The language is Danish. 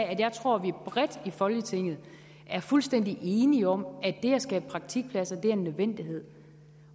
at jeg tror at vi bredt i folketinget er fuldstændig enige om at det at skabe praktikpladser er en nødvendighed